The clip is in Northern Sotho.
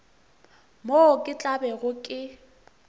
moo ke tla bego ke